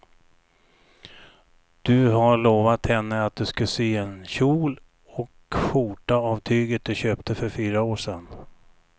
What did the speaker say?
Du har lovat henne att du ska sy en kjol och skjorta av tyget du köpte för fyra år sedan.